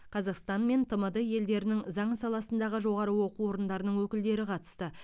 қазақстан мен тмд елдерінің заң саласындағы жоғары оқу орындарының өкілдері қатысты